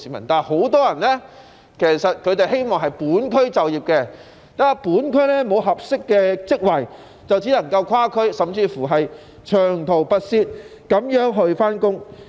然而，很多市民都希望在本區就業，但由於本區沒有合適的職位，便只能長途跋涉跨區工作。